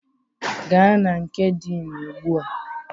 Gaa na nke Dean ugbu a!